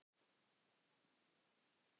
Hverjir eru þeir?